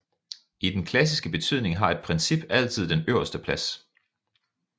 I den klassiske betydning har et princip altid den øverste plads